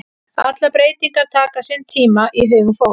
Allar breytingar taka sinn tíma í hugum fólks.